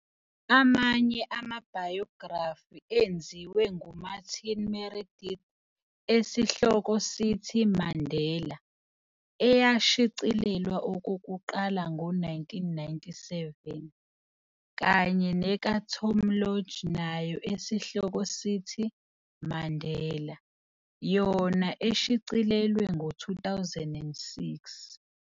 Amanye amabhayografi enziwe nguMartin Meredith esihloko sithi- "Mandela", eyashicilelwa okokuqala ngo 1997, kanye neka-Tom Lodge nayo esihloko sithi- "Mandela", yona eshicilelwe ngo 2006.